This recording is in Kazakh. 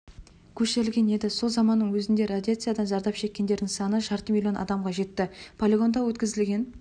көшірілген еді сол заманның өзінде радиациядан зардап шеккендердің саны жарты миллион адамға жетті полигонда өткізілген